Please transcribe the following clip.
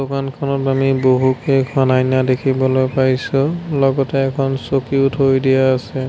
দোকানখনত আমি বহুকেইখন আইনা দেখিবলৈ পাইছোঁ লগতে এখন চকীও থৈ দিয়া আছে।